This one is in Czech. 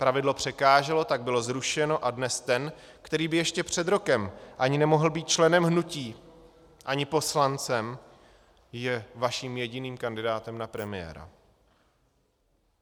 Pravidlo překáželo, tak bylo zrušeno a dnes ten, který by ještě před rokem ani nemohl být členem hnutí ani poslancem, je vaším jediným kandidátem na premiéra.